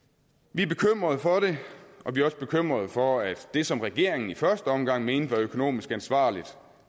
vi er bekymrede for det og vi er også bekymrede for at det som regeringen i første omgang mente var økonomisk ansvarligt